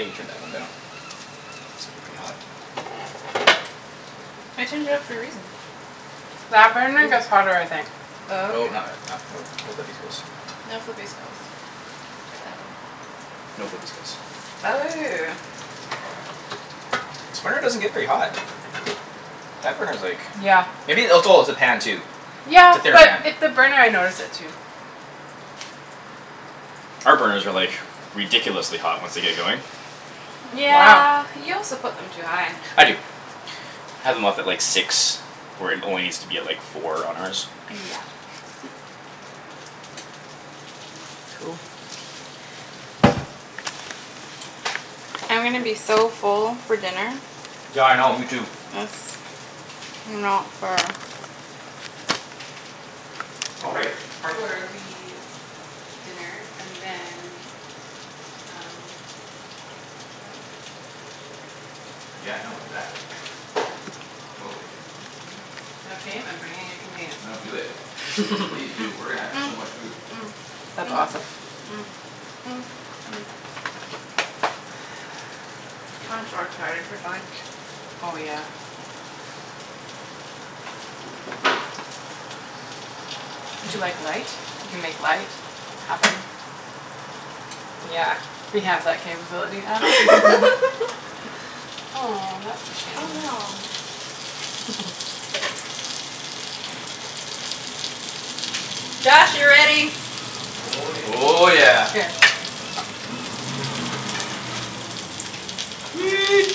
need to turn that one down. It's getting pretty hot I turned it up for a reason. That burner gets hotter I think. Oh Oh okay. not like not nope no flippy skills. No flippy skills. Check that one. No flippy skills. Oh. This burner doesn't get very hot. That burner's like Yeah. Maybe oh it's oh it's the pan too. Yeah It's a thinner but pan. it the burner I notice it too. Our burners are like ridiculously hot once they get going. Wow. Yeah. You also put them too high. I do. I had them up at like six where it only needs to be four on ours. Yeah. Cool. I'm gonna be Nice. so full for dinner. Yeah I know me too. Yes, you know for uh Oh Or right, parking. or we Eat dinner and then Um if we have a bunch left then we don't cook Yeah tomorrow. no exactly. Totally. Mhm mhm mhm. No shame, I'm bringing a container. No do it please do we're gonna have so much food. That's awesome. I'm so excited for dunch Oh yeah. Would you like light? We can make light happen. Yeah, we have that capability now. Aw, that's a Oh shame. no. Josh, you're ready. Oh yeah. Oh yeah. Here. Sweet. Sweet.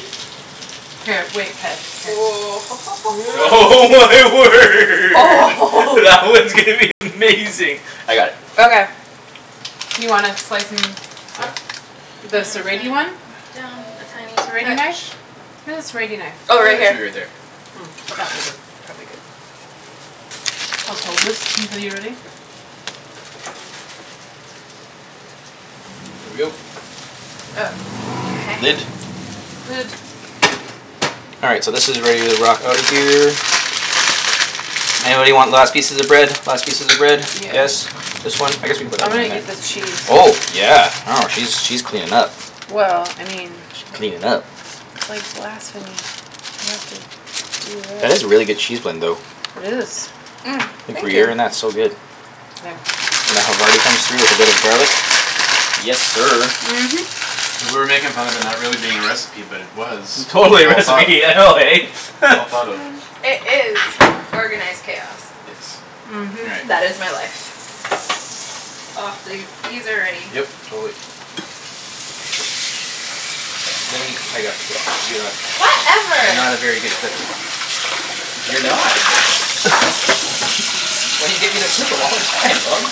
Here, wait, Ped, here. Oh my word that one's gonna be amazing. I got it. Okay You wanna slice 'em Yeah up? The I'm gonna serrate-y turn one? it down a tiny serrate-y knife? touch. Where's the serrate-y knife? I Oh right got here. two right there. That will work probably good. I'll just hold this until you're ready. Here we go. Oh. Lid. Lid All right so this is where you rock outta here. Anybody want last pieces of bread? Last pieces of bread? Yeah Yes? This one? I guess we can put I'm that gonna one in eat there. this cheese. Oh yeah. I know she's she's cleanin' up Well I mean Cleanin' up. It's like blasphemy. You have to do That is it. a really good cheese blend though. It is. Think Thank you gruyere in that's so good. There And the havarti comes through with a bit of garlic. Yes sir. Mhm And we're making fun of it not being a recipe but it was. We Totally a all thought recipe I know eh? Well thought of. Um it is organized chaos. Yes. Mhm All right. That is my life. Aw th- these are ready. Yep, totally. Lemme I got it you're not You're Whatever. not a very good flipper. You're not. That's why you get me to flip 'em all the time, love.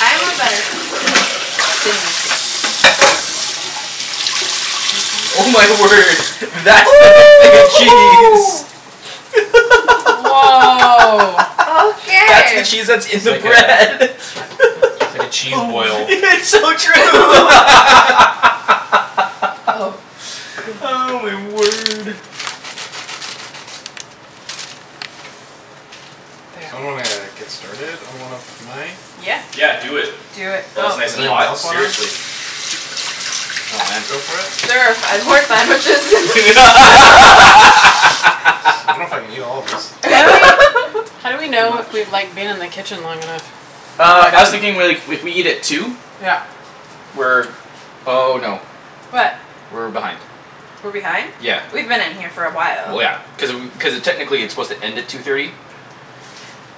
I am a better flipper Than you think. Oh my word. That's the big thing of cheese. Woah That's the Okay cheese that's in It's the like a bread. It's like a cheese Boom boil. It's so true Oh Oh god. my word. So I'm There gonna get started on one of my Yeah Yeah do it. Do it. While Go. it's nice Does and Eat. anyone hot, else wanna? seriously. Oh man. Go for it? There are five more sandwiches. I dunno if I can eat all of this. How do we how do we It's too know if much we've like been in the kitchen long enough? Uh I was thinking more like if we eat at two Yeah We're oh no What? We're behind. We're behind? Yeah. We've been in here for a while. Well yeah. Cuz cuz uh technically it's supposed to end at two thirty.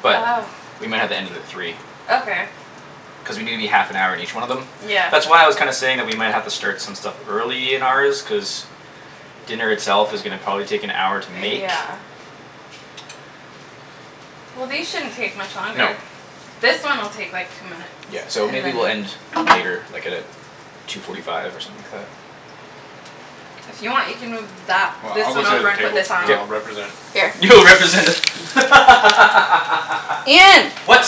But Oh we might have to end it at three. Okay Cuz we need to be half an hour in each one of them. Yeah That's why I was kinda saying that we might have to start some stuff early in ours cuz Dinner itself is probably gonna take an hour to make. Yeah Well these shouldn't take much No. longer. This one will take like two minutes. Yeah so And maybe then we'll end later like at uh two forty five or something like that. If you want you can move that Well this I'll go one sit at over the and put table this on and I'll K. represent Here You'll represent the Ian What?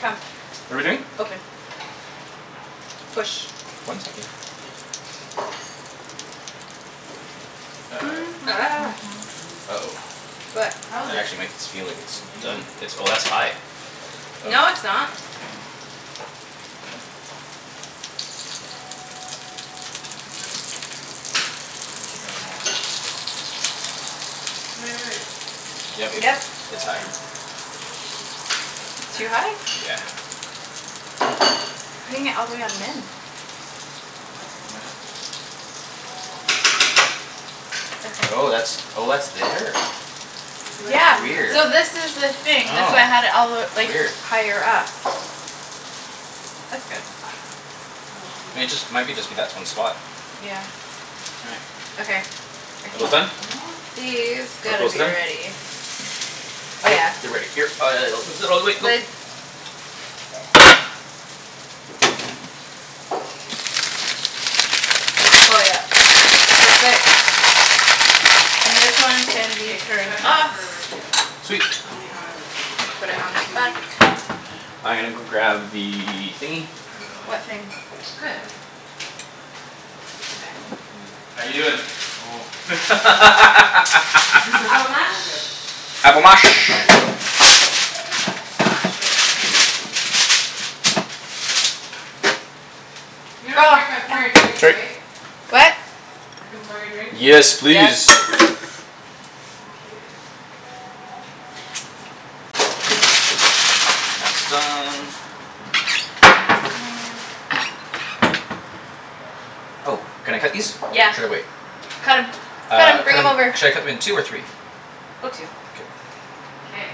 Come. What're we doing? Open. Push One second. Uh Uh oh. What? That How is it? actually might s- feel like it's done. Amazing. Oh that's high. No it's not This is good. Feel I should try them all eh? Wai- wai- wait Yeah babe, Yep it's high. Too high? Yeah. Putting it all the way What's on this? min. Truffle Truffle mayo mayo? Oh Okay that's oh that's there. Would you like Yeah some of Weird this? so this is the thing that's Sure why I had it all the w- Oh like weird. higher up That's good. Oh hang on I mean one it just it second. might be just be that one spot Yeah Okay I think Almost done? These All gotta close be to done? ready. Oh yeah. They're ready uh all the way, go. Lid Oh yep. Perfect. And this one can be K turned try that off. for a ratio. Sweet Tell me how it is. It Put it might be on the too back weak. I gonna go grab the thingy I really like What it. thing? It's Good. perfect. Okay. How you doin'? Avo Oh mash. good Avo mash. Not uh not much but You don't care if I pour your drinks Sorry. right? What? I can pour your drinks? Yes Yes please. Okay That's done. Oh can I cut these? Yeah Should I wait? cut 'em cut 'em Uh cut bring 'em 'em over. should I cut 'em in two or three? Go two K K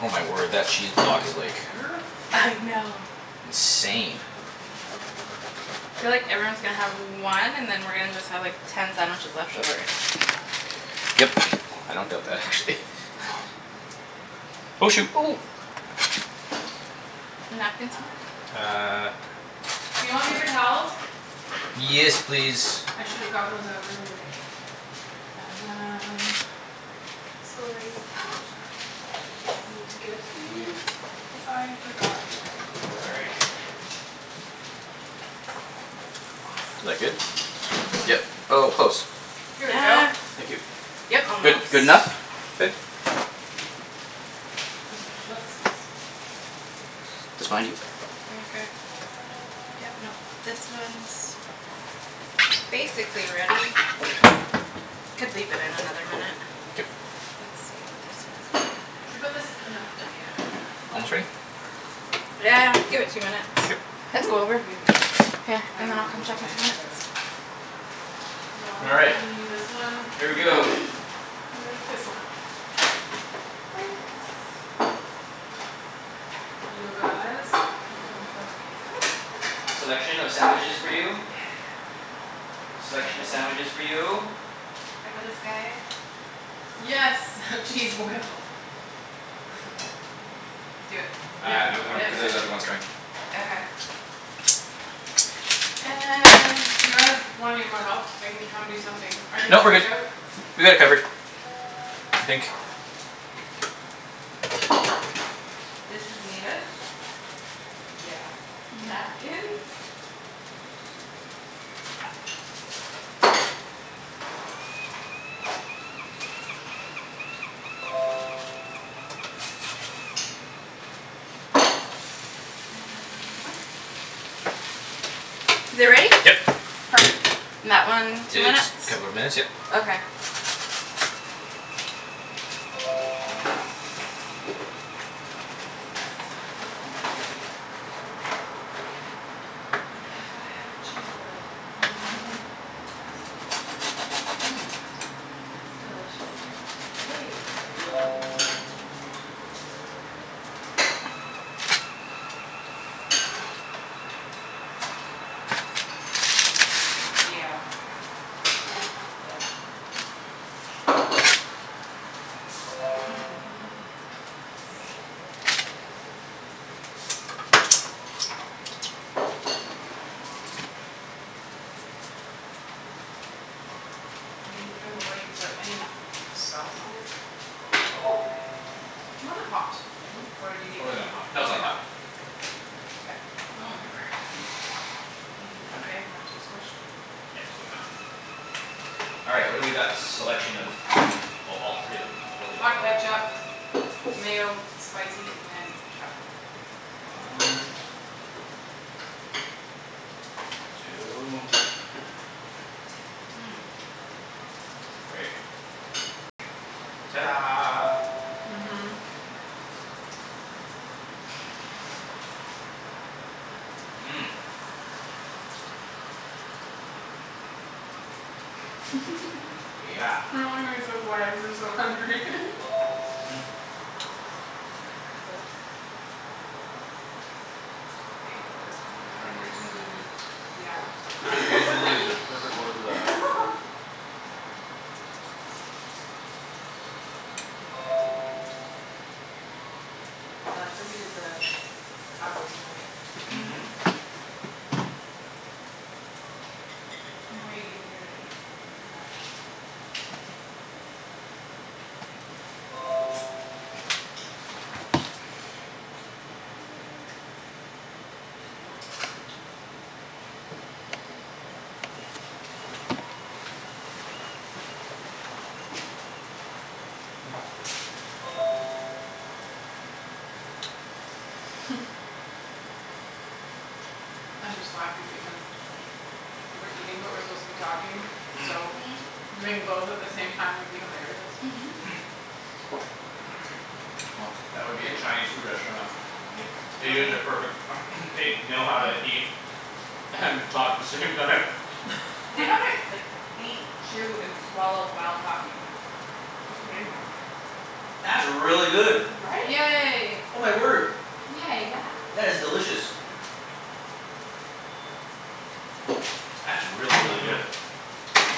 Oh my word that cheese block is like There I know How much Insane. did I put in it? Feel like everyone's gonna have one and then we're just gonna have like ten sandwiches left over. Yep. I don't doubt that actually Oh shoot. Napkin somewhere? Uh Do you want paper towels? Yes please. I should've gotten those out earlier. Um Sorry Just need to get these cuz I forgot before. Is Awesome that good? Yep. Oh close. Here we go. Yeah Thank you. Yep. Good. Almost Good enough? Good? Okay, let's just sample this here. Just behind you. Okay Yep nope this one's Basically ready. Could leave it in another minute. K Let's see what this one's doing. Should put this in the Not yet. back Almost here. ready? Sure Yeah give it two minutes. K Let's go over. We have a problem. K I and don't then I'll remember come which check one in I two drank minutes. out of. All right, Probably this one. here we Wait. go. This one. Plates You guys One for you Selection of sandwiches for you. Yes Selection of sandwiches for you. I got us guy Yes cheese boil. Do it. Yeah Uh Think no we got I'm yeah it. cuz yeah there's other ones coming. Okay okay. And Do you guys want any more help? I can come do something. I can No we're switch good. out We got it covered. I think. This is needed. Yeah Napkins. Sorry And Awesome Is it ready? Yep. Perfect. That one, It two just minutes? couple of minutes yeah. Okay Yes Yes Oh yeah I got half a cheese boil. That's awesome. It's delicious, Kara. Yay good Yeah Yep I mean even before you put any sauce on it Do you wanna hot thing? Or do you It's need really not hot. No it's not probably hot. not K Oh my word Are you yummy okay? Not too squished? Yeah totally fine. All right, what do we got selection of? Oh totally all three of them. Totally all Hot three. ketchup, mayo, spicy, and truffle. One. Mayo Two. Three. Ta da Mhm Mhm Yeah We're all gonna be so quiet cuz we're so hungry These are unreasonably good. Yeah "Unreasonably" is the perfect word for that. I like that we did the avos mashed Mhm. Mhm Way easier to eat. Yeah I'm just laughing because We're eating but we're supposed to be talking so Doing both at the same time would be hilarious Well that would be a Chinese food restaurant. Yep Really? Asians are perfect they know how to eat And talk the same time. They know how to like eat chew and swallow while talking. That's amazing. That's really good. Right? Yay Oh my word, Yay Yeah that's delicious. That's really really good.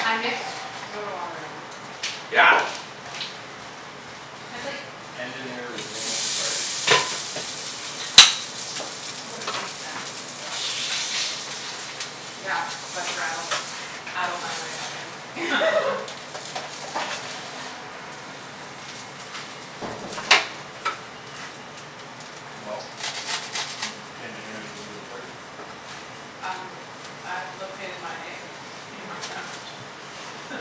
I mixed soda water in it. Yeah. That's like Lemonade stand good Yeah. But for adults. Adult lemonade stand. Well, the engineer's resumed the party. Um I've located my egg in my sandwich.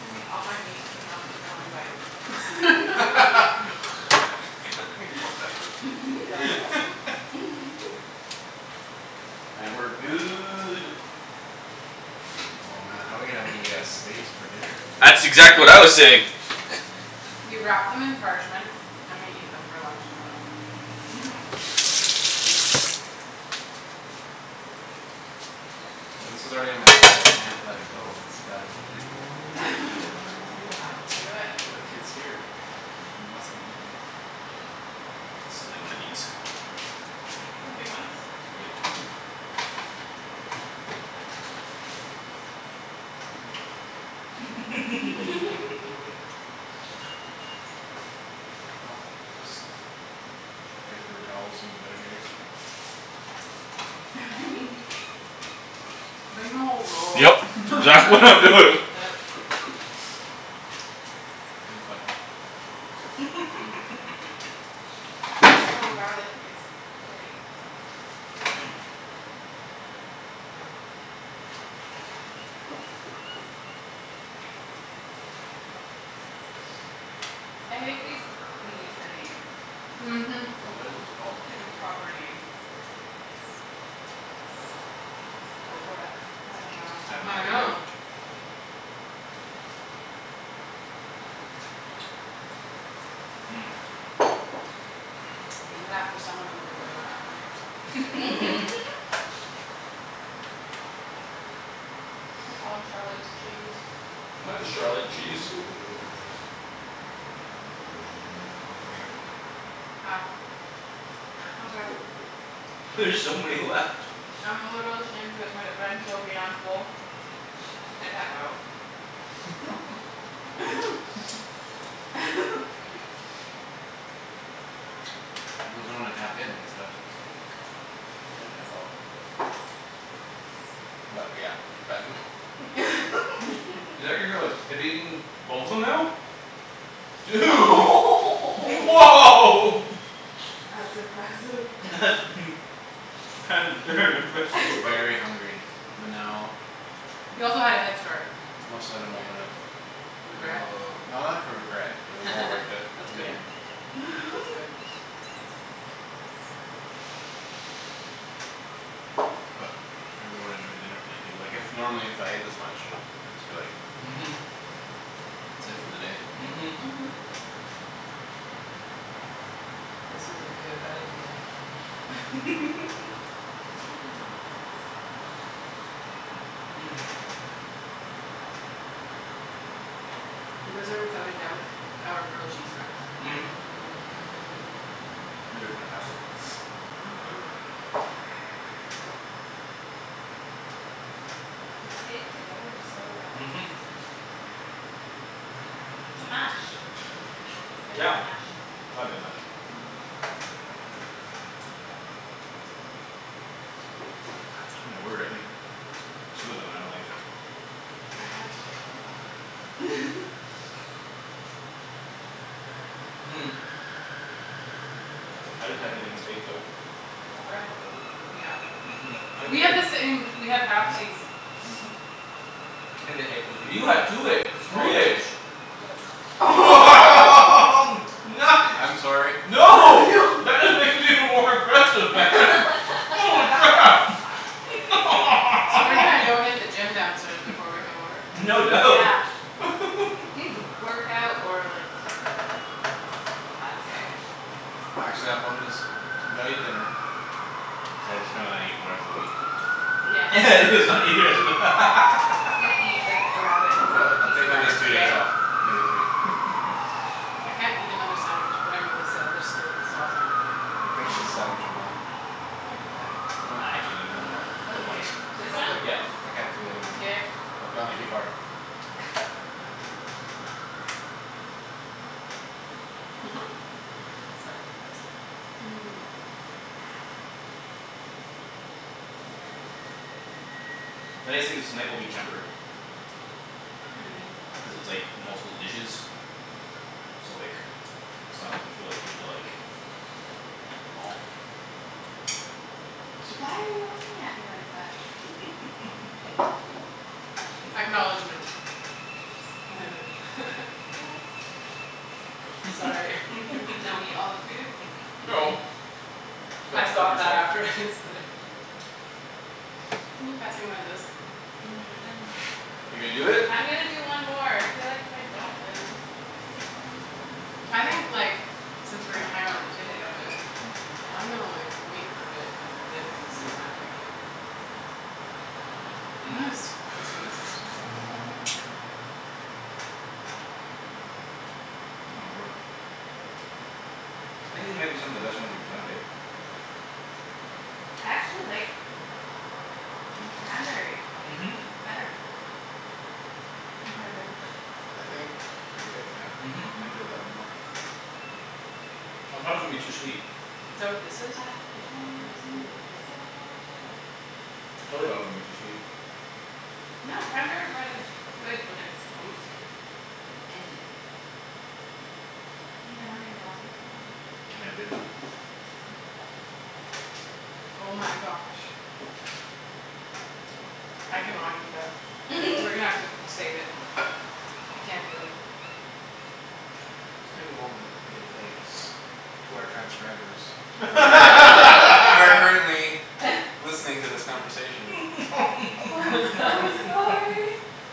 I think all my meat came out in one bite. That's awesome. And we're good. Oh man how we gonna have any uh space for dinner? That's exactly what I was saying. We wrap them in parchment and we eat them for lunch tomorrow. Mhm But this is already on my plate I can't let it go it's gotta be eaten. I have to eat it. You have to do it. Look it's here. It must be eaten. Stealing one of these. The big ones? Yep Well this paper towel's seen better days. Bring the whole roll. Yup, Yeah. it's exactly what I'm doing. Yep. Thanks bud So garlicky it's great Yeah I think these need a name Mhm What is this called? Like a proper name. Go for it. I dunno I have no I idea. know. Name it after someone in the royal family or something We'll call 'em Charlotte's cheese. Why Charlotte cheese? Ah Okay There's so many left I'm a little ashamed to admit it but I am so beyond full I tap out. He doesn't wanna tap in so You can't tap out. But yeah, we should pack 'em up Is that you're you're like have you eaten both of them now? Dude woah That's impressive. That's that's very impressive. Very hungry, but now He also had a head start. Must let a moment of Regret? no not for regret. It was all worth it That's in the good. end. That's good. But I really wanna enjoy dinner tonight. Du- like if normally if I ate this much I'd just be like Mhm. That's it for the day. Mhm. Mhm This was a good idea. You guys are without a doubt Aye our grilled cheese friends. These are fantastic. Mhm Yeah They stayed together so well. Mhm. It's the mash. It's gotta be Yeah. the mash. It's gotta be the mash. My word I think two of 'em and I'm like. I had one I didn't have anything with egg though. Oh I had the one with egg. Yeah Mhm I had We the have egg the same. We have mhm halfsies. Mhm I think the egg 'pposed to you had two egg three Stolen. eggs. I'm Nice. sorry. Oh No. no That is even more impressive man. Holy crap. So we're gonna go hit the gym downstairs before we come Yeah over. No Dude doubt. yeah You need to work out or like just pass out. Actually I'll probably just gotta eat dinner So I just gonna not eat for the rest of the week. Yeah just not eat the rest of the Yeah He's gonna eat like a rabbit and just like I'll a like I'll piece take of at least lettuce two a days day. off. Maybe three. I can't eat another sandwich but I'm really sad there's still sauce on my plate. Yo I finish with know sandwich of mine. I can do that. Why I not? actually gonna one more. For the one. Okay, Take this a one? whole thing. Yeah. I can't do anymore. Here I've gone Thank too you. far. Sorry. Nice thing is tonight will be tempered. What do you mean? Cuz it's like multiple dishes. So like it's not like you feel like you need to like Eat them all. Except Why you. are you looking at me like that? Acknowledgment I'm just Just Sorry Don't eat all the food No I Don't stop thought that yourself. after I said it. Can you pass me one of those? Um I'm You're gonna do it? I'm gonna do one more. I feel like if I don't I would just I think like since we're gonna That hang out at the I table for a have bit to I'm gonna Yeah like wait for a bit and then consume that if I can. But I'm gonna still consume this first. Oh my word. I think these might be some of the best ones we've done, babe. I actually like the cranberry Mhm. better. Cranberry bread I think you're right yeah. Mhm I enjoyed that one Mhm. more. I thought it was gonna be too sweet. Is that what this is? I No, I don't told think that's the big you one. so I totally thought it was gonna be too sweet. No cranberry bread is good when it's toasted with anything. You never made a melty with them at work? I never did, no. Oh my gosh I cannot eat that. We're gonna have to save it. I can't do it. Just take a moment and give thanks to our transcribers Who are current who are currently Listening to this conversation. Oh I'm so sorry.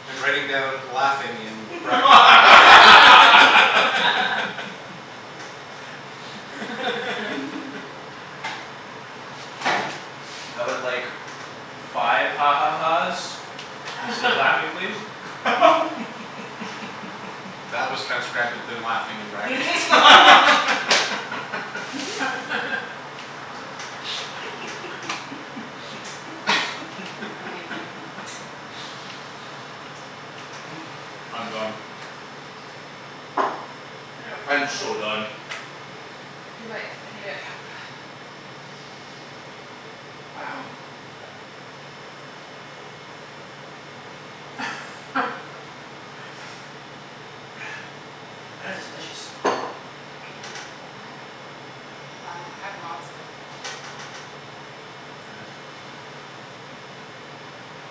And writing down "laughing" in brackets and Ian I would like five ha ha ha's Instead of "laughing" please. That was transcribed with the "laughing" in brackets. Amazing. I'm done. I can do I'm it. Two more so done. bites. Two bites, I can do it. Yep Wow. That is delicious. Thank you. Yeah Um I have lots of it. That is delicious.